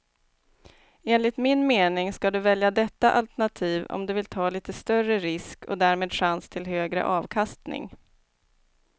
Enligt min mening ska du välja detta alternativ om du vill ta lite större risk och därmed chans till högre avkastning.